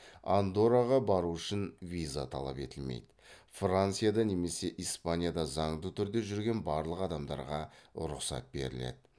андорраға бару үшін виза талап етілмейді францияда немесе испанияда заңды түрде жүрген барлық адамдарға рұқсат беріледі